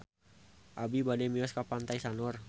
Abi bade mios ka Pantai Sanur